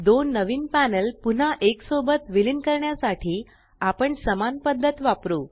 दोन नवीन पॅनल पुन्हा एक सोबत विलीन करण्यासाठी आपण समान पद्धत वापरु